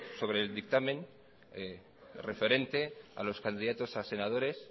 sobre el dictamen referente a los candidatos a senadores